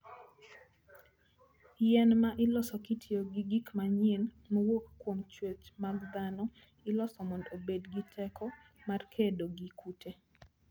Yien ma iloso kitiyo gi gik manyien mowuok kuom chwech mag dhano, iloso mondo obed gi teko mar kedo gi kute.